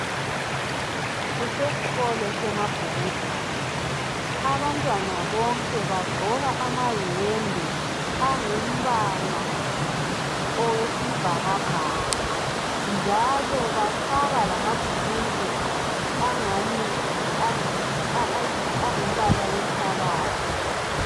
Kusesikolo seMabhukudwane abantwana bonke bagqoka amayembe angumbala owesibhakabhaka njalo bafaka lamabhulungwe angani angumbala wenhlabathi.